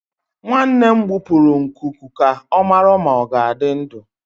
Nwanne m gbupụrụ nkuku ka ọ mara ma ọ ga-adị ndụ.